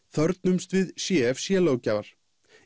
þörfnumst við c f c löggjafar